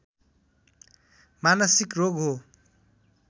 मानसिक रोग हो